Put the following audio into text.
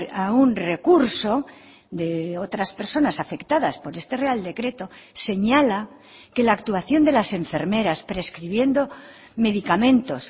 a un recurso de otras personas afectadas por este real decreto señala que la actuación de las enfermeras prescribiendo medicamentos